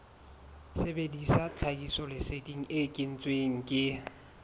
sebedisa tlhahisoleseding e kentsweng ke